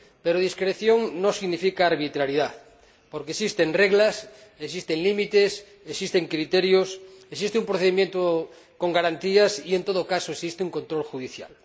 Pero discreción no significa arbitrariedad, porque existen reglas, existen límites, existen criterios, existe un procedimiento con garantías y, en todo caso, existe un control judicial.